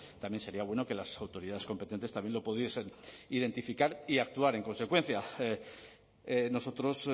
también sería bueno que las autoridades competentes también lo pudiesen identificar y actuar en consecuencia nosotros